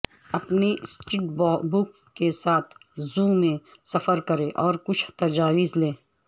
اپنے sketchbook کے ساتھ زو میں سفر کریں اور کچھ تجاویز لیں